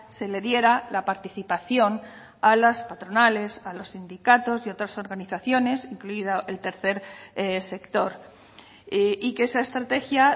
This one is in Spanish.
se le diera la participación a las patronales a los sindicatos y otras organizaciones incluido el tercer sector y que esa estrategia